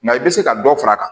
Nka i bɛ se ka dɔ far'a kan